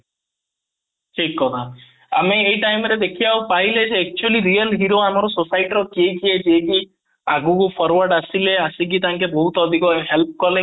ଠିକ କଥା ଆମେ ଏଇ time ରେ ଦେଖିବାକୁ ପାଇଲେ ଯେ actually real hero ଆମର society ର କିଏ କିଏ ଯିଏ କି ଆଗକୁ forward ଆସିଲେ ଆସିକି ତାଙ୍କେ ବହୁତ ଅଧିକ help କଲେ